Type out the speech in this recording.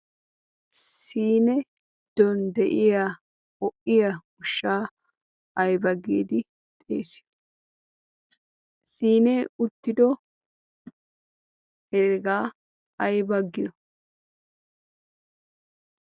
siini giddon de'iaa ho'iya ushsha aybba giidi xeessiyo ? siine uttido hegga aybba giyo?